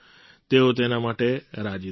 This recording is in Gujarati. તેઓ તેના માટે રાજી થઈ ગયા